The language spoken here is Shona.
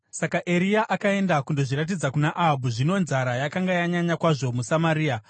Saka Eria akaenda kundozviratidza kuna Ahabhu. Zvino nzara yakanga yanyanya kwazvo muSamaria,